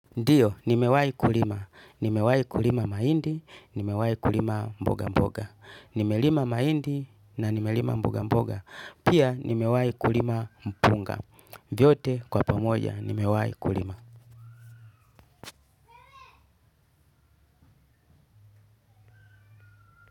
Ndio, nimewahi kulima nimewahi kulima mahindi, nimewahi kulima mboga mboga. Nimelima mahindi na nimelima mboga mboga. Pia, nimewai kulima mpunga. Vyote, kwa pamoja, nimewahi kulima.